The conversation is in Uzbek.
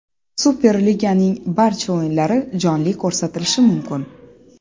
Super Liganing barcha o‘yinlari jonli ko‘rsatilishi mumkin.